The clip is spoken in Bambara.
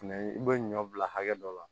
Fɛnɛ i bɛ ɲɔ bila hakɛ dɔ la